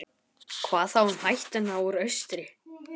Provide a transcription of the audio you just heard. Svipur Símonar varð myrkari eftir því sem erindið lengdist.